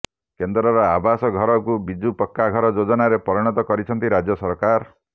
କେନ୍ଦ୍ରର ଆବାସ ଘରକୁ ବିଜୁ ପକ୍କା ଘର ଯୋଜନାରେ ପରିଣତ କରିଛନ୍ତି ରାଜ୍ୟ ସରକାର